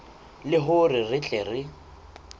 le hore re tle re